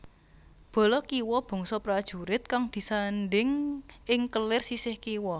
Bala kiwa bangsa prajurit kang disandhing ing kelir sisih kiwa